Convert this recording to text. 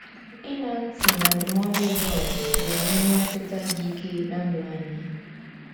Ịṅa ntị na ndụmọdụ John ga-enwe mmetụta dị ike na ndụ anyị.